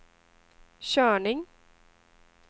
körning